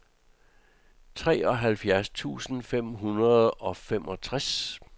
treoghalvfjerds tusind fem hundrede og femogtres